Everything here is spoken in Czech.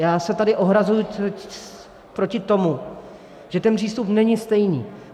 Já se tady ohrazuji proti tomu, že ten přístup není stejný.